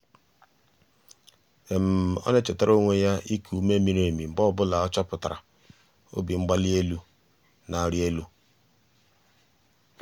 ọ na-echetara onwe ya iku ume miri emi mgbe ọ bụla ọ chọpụtara obimgbalienu na-arị elu.